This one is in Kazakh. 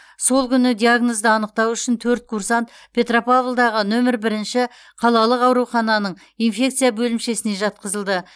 сол күні диагнозды анықтау үшін төрт курсант петропавлдағы нөмірі бірінші қалалық аурухананың инфекция бөлімшесіне жатқызылды